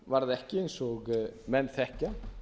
varð ekki eins og menn þekkja